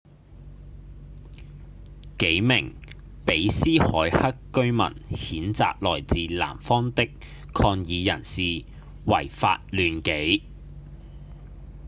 幾名比斯凱克居民譴責來自南方的抗議人士違法亂紀